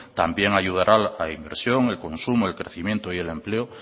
también ayudará a la inversión el consumo el crecimiento y el empleo